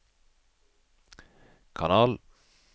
kanal